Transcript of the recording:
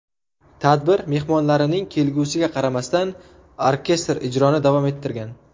Tadbir mehmonlarining kulgusiga qaramasdan, orkestr ijroni davom ettirgan.